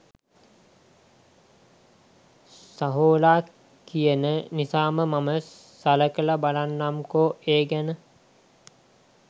සහෝලා කියන නිසා මම සලකලා බලන්නම්කෝ ඒ ගැන.